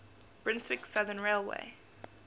brunswick southern railway